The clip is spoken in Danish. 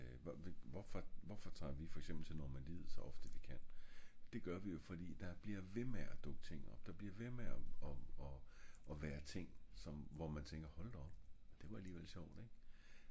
der er hvorfor tager vi for eksempel til normandiet så ofte vi kan? det gør vi jo fordi der bliver ved med at dukke ting op der bliver ved med og og være ting hold da op det var alligevel sjovt ik?